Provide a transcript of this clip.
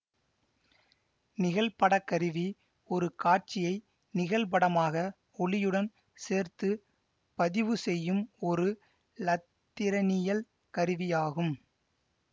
நிகழ்படக்கருவி ஒரு காட்சியை நிகழ்படமாக ஒலியுடன் சேர்த்து பதிவு செய்யும் ஒரு இலத்திரனியல் கருவி ஆகும்